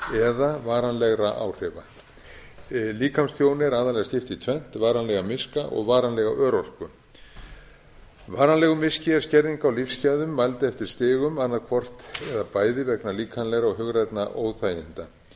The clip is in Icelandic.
eða varanlegra áhrifa líkamstjóni er aðallega skipt í tvennt varanlegan miska eða varanlega örorku varanlegur miski er skerðing á lífsgæðum mæld eftir stigum annað hvort eða bæði vegna líkamlegra og hugrænna óþæginda